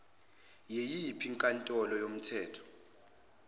yiyiphi inkantolo yomthetho